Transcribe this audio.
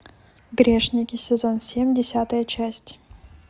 грешники сезон семь десятая часть